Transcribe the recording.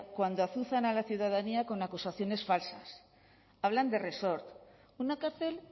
cuando azuzan a la ciudadanía con acusaciones falsas hablan de resort una cárcel